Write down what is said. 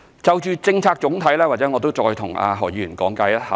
就着總體政策，或許我再向何議員稍作講解。